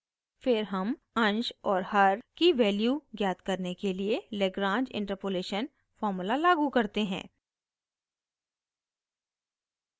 फिर हम अंश और हर की वैल्यू ज्ञात करने के लिए lagrange interpolation formula लागू करते हैं